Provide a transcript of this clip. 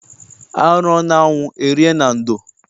A rụọ n'anwụ e rie na ndo.